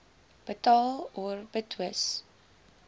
betaal or betwis